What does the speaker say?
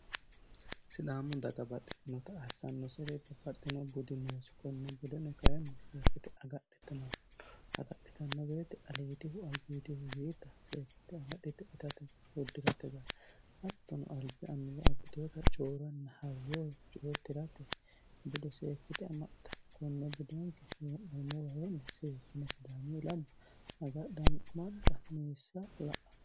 sidaamu dagabaxxitinota hassanno sire babbaxino gudinoosi konne budeno kayinnei seekkite agadhitinanno agadhitanno beeti aliitihu albiitihu yiita seekkite agadhite itatea guddi'rate gare haktono albi annuwa abbitoota cooranna hayyoo coyi tirate bude seekkite amaitam konne budenke hee'nemowaheenne seekkine sidaamu lamo agadhanni amaxxa meessa la'ann